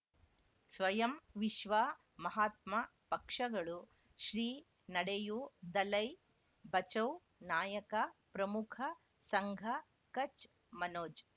ಸ್ವಯಂ ವಿಶ್ವ ಮಹಾತ್ಮ ಪಕ್ಷಗಳು ಶ್ರೀ ನಡೆಯೂ ದಲೈ ಬಚೌ ನಾಯಕ ಪ್ರಮುಖ ಸಂಘ ಕಚ್ ಮನೋಜ್